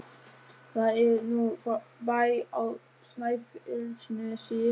Það er nú bær á Snæfellsnesi!